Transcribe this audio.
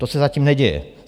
To se zatím neděje.